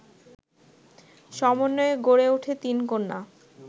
সমন্বয়ে গড়ে ওঠে তিনকন্যা